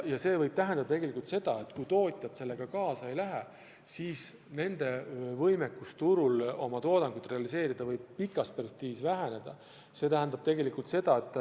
Ja see võib tähendada seda, et kui tootjad sellega kaasa ei lähe, siis nende võimekus turul oma toodangut realiseerida võib pikas perspektiivis väheneda.